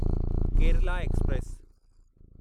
Kerala express